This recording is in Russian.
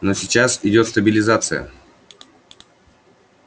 но сейчас идёт стабилизация